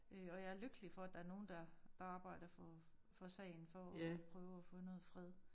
Øh og jeg er lykkelig for at der er nogen der arbejder for sagen for at prøve at få noget fred